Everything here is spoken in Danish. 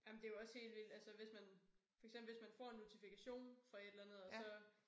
Jamen det jo også helt vildt altså hvis man for eksempel hvis man får en notifikation fra et eller andet og så